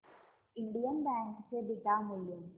Indian Bank चे beta मूल्य